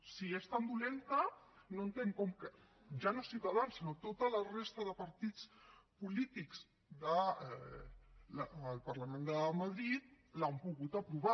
si és tan dolenta no entenc com ja no ciutadans sinó tota la resta de partits polítics del parlament de madrid l’han pogut aprovar